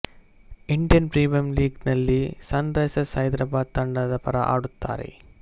Indian premier ಲೀಗ್ನಲ್ಲಿ sun risers Hyderabad ತಂಡದ ಪರ ಆಡುತ್ತಾರೆ